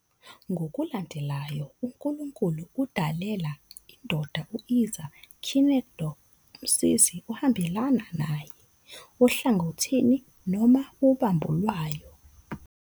Ngokulandelayo uNkulunkulu udalela indoda i- "ezer kenegdo", "umsizi ohambelana naye", ohlangothini noma ubambo lwayo.